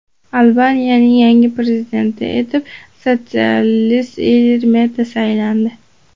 Albaniyaning yangi prezidenti etib sotsialist Ilir Meta saylandi.